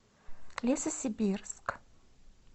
лесосибирск